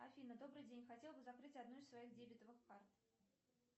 афина добрый день хотела бы закрыть одну из своих дебетовых карт